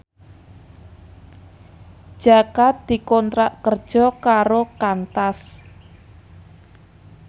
Jaka dikontrak kerja karo Qantas